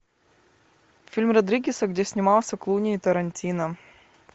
фильм родригеса где снимался клуни и тарантино